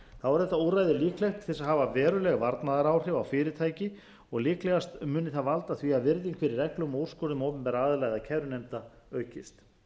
er þetta úrræði líklegt til þess að hafa veruleg varnaðaráhrif á fyrirtæki og líklegast muni það valda því að virðing fyrir reglum og úrskurðum opinberra aðila eða kærunefnda aukist